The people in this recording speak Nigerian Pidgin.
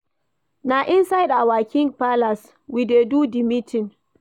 Na inside our king palace we dey do di meeting.